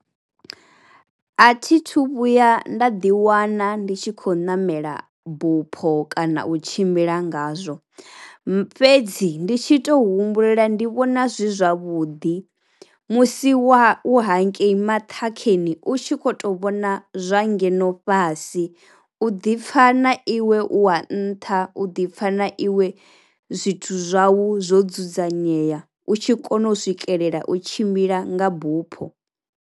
A thi thu vhuya nda ḓi wana ndi tshi kho ṋamela bupho kana u tshimbila nga zwo, fhedzi ndi tshi tou humbulela ndi vhona zwi zwavhuḓi musi wa u hangei maṱhakheni u tshi kho to vhona zwa ngeno fhasi u ḓi pfha na iwe u wa nṱha u ḓi pfha na iwe zwithu zwau zwo dzudzanyea u tshi kona u swikelela u tshimbila nga bupho.